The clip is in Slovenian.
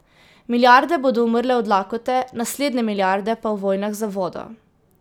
Milijarde bodo umrle od lakote, naslednje milijarde pa v vojnah za vodo.